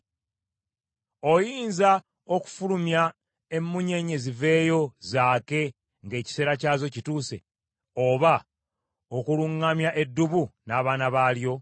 Oyinza okufulumya emunyeenye ziveeyo zaake ng’ekiseera kyazo kituuse, oba okuluŋŋamya eddubu n’abaana balyo?